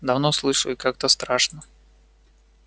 давно слышу и как-то страшно